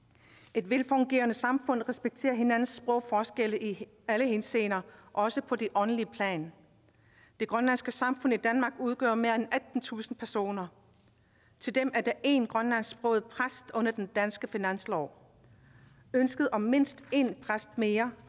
et velfungerende samfund respekterer hinandens sprogforskelle i alle henseender også på det åndelige plan det grønlandske samfund i danmark udgør mere end attentusind personer til dem er der én grønlandsksproget præst under den danske finanslov ønsket om mindst én præst mere